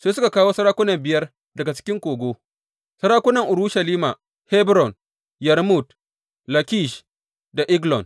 Sai suka kawo sarakunan biyar daga cikin kogo; sarakunan Urushalima, Hebron, Yarmut, Lakish da Eglon.